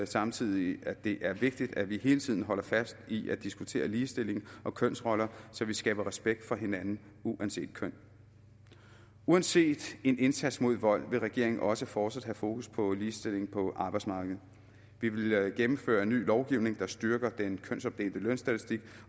samtidig at det er vigtigt at vi hele tiden holder fast i at diskutere ligestilling og kønsroller så vi skaber respekt for hinanden uanset køn uanset en indsats mod vold vil regeringen også fortsat have fokus på ligestilling på arbejdsmarkedet vi vil gennemføre en ny lovgivning der styrker den kønsopdelte lønstatistik